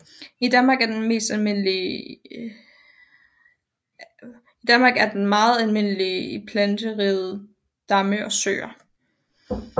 I Danmark er den meget almindelig i planterige damme og søer